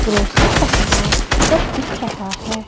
Grocery का सामान सब दिख रहा है।